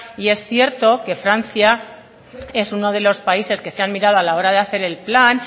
y es cierto que francia es uno de los países que se han mirado a la hora de hacer el plan